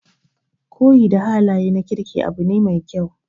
Koyi da halaye na kirki abu ne mai kyau.